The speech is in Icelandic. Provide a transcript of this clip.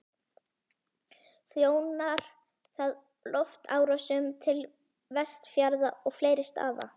Þjónar það loftrásum til Vestfjarða og fleiri staða.